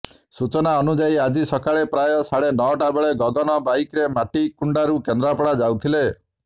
ସୂଚନା ଅନୁଯାୟୀ ଆଜି ସକାଳ ପ୍ରାୟ ସାଢ଼େ ନଅଟା ବେଳେ ଗଗନ ବାଇକ୍ରେ ମଣିକୁଣ୍ଡାରୁ କେନ୍ଦ୍ରାପଡ଼ା ଯାଉଥିଲେ